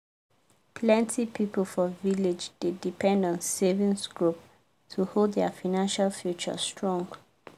plenty people for village dey depend on savings group to hold their financial future strong.